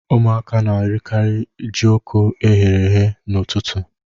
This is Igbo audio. Ụmuaka na-erikarị jioko e ghere eghe n'ụtụtụ.